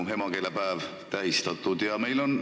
Emakeelepäeva tähistatakse praegu lipupäevana.